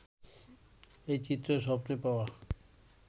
এই চিত্রে স্বপ্নে-পাওয়া